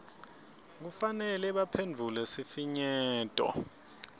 kufanele baphendvule sifinyeto